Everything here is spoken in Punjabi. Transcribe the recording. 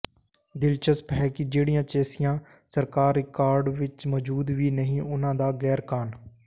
ਦਿਲਚਸਪ ਹੈ ਕਿ ਜਿਹੜੀਆਂ ਚੈਸੀਆਂ ਸਰਕਾਰੀ ਰਿਕਾਰਡ ਵਿਚ ਮੋਜੂਦ ਵੀ ਨਹੀਂ ਉਨਾਂ ਦਾ ਗੈਰ ਕਾਨ